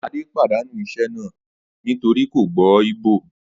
Adé padànú isé̩ náà nítorí kò gbó̩ Ìgbò